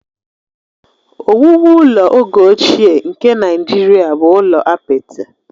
Ọwụwụ ụlọ oge ochie nke Naijiria bụ ụlọ apịtị